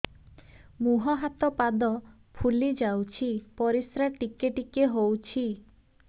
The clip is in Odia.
ମୁହଁ ହାତ ପାଦ ଫୁଲି ଯାଉଛି ପରିସ୍ରା ଟିକେ ଟିକେ ହଉଛି